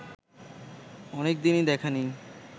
অনেকদিনই দেখা নেই